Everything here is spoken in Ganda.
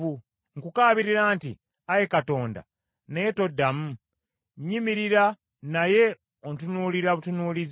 “Nkukaabirira nti, Ayi Katonda, naye toddamu; nnyimirira, naye ontunuulira butunuulizi.